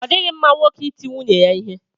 Ọ dịghị mma nwoke iti nwunye ya ihe.